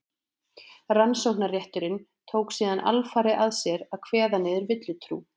rannsóknarrétturinn tók síðan alfarið að sér að kveða niður villutrú